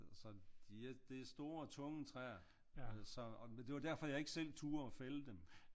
Så det er store tunge træer så og det var derfor jeg ikke selv turde fælde dem